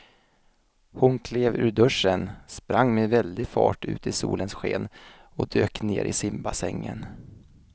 Hon klev ur duschen, sprang med väldig fart ut i solens sken och dök ner i simbassängen.